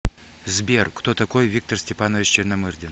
сбер кто такой виктор степанович черномырдин